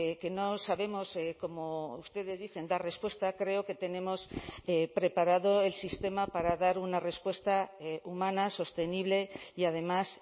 que no sabemos como ustedes dicen dar respuesta creo que tenemos preparado el sistema para dar una respuesta humana sostenible y además